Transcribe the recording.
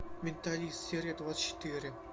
менталист серия двадцать четыре